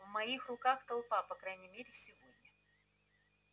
в моих руках толпа по крайней мере сегодня